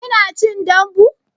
Kina cin dambu?